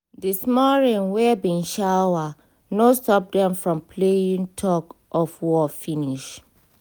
di small rain wey bin shower no stop dem from playing tug of war finish